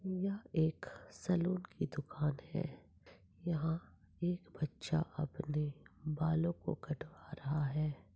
यहा एक सलून की दुकान है। यहा एक बच्चा अपने बालोंको कटवा रहा है।